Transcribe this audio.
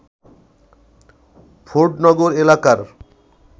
ফোর্ডনগর এলাকার